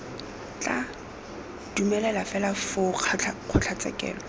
tla dumelelwa fela foo kgotlatshekelo